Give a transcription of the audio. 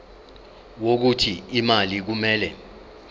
wokuthi imali kumele